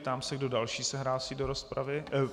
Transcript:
Ptám se, kdo další se hlásí do rozpravy.